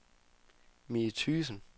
Mie Thygesen